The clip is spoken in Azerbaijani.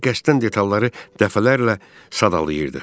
Özü də qəsdən detalları dəfələrlə sadalayırdı.